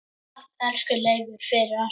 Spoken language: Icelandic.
Takk, elsku Leifur, fyrir allt.